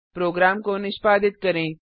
programme को निष्पादित करें